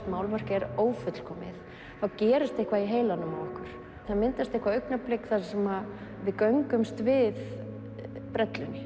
málverk er ófullkomið þá gerist eitthvað í heilanum í okkur það myndast eitthvert augnablik þar sem við göngumst við brellunni